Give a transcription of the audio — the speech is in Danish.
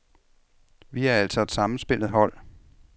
Vi er altså et sammenspillet hold.